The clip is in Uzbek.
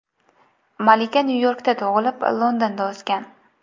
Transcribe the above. Malika Nyu-Yorkda tug‘ilib, Londonda o‘sgan.